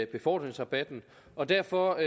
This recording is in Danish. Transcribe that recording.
befordringsrabatten og derfor